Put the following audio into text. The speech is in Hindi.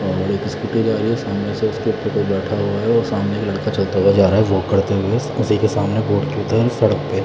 और एक स्कूटी जा रही है सामने से उसके ऊपर कोई बैठा हुआ है और सामने एक लड़का चलता हुआ जा रहा है वॉक करते हुए उसी के सामने सड़क पे--